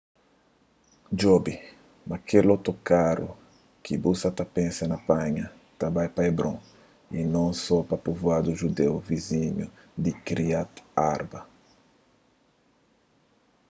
djobe ma kel otokaru ki bu sa ta pensa na panha ta bai pa hebron y non so pa povuadu judeu vizinhu di kiryat arba